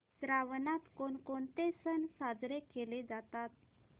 श्रावणात कोणकोणते सण साजरे केले जातात